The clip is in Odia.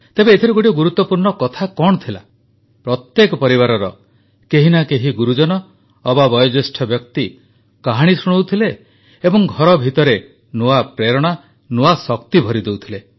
ତେବେ ଏଥିରେ ଗୋଟିଏ ଗୁରୁତ୍ୱପୂର୍ଣ୍ଣ କଥା କଣ ଥିଲା ପ୍ରତ୍ୟେକ ପରିବାରର କେହି ନା କେହି ଗୁରୁଜନ ଅବା ବୟୋଜ୍ୟେଷ୍ଠ ବ୍ୟକ୍ତି କାହାଣୀ ଶୁଣାଉଥିଲେ ଏବଂ ଘର ଭିତରେ ନୂଆ ପ୍ରେରଣା ନୂତନ ଶକ୍ତି ଭରିଦେଉଥିଲେ